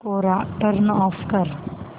कोरा turn off कर